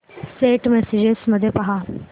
Saint messages मध्ये पहा